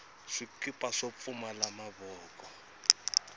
swikipa swo pfumala mavoko